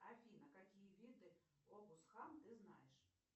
афина какие виды обусхан ты знаешь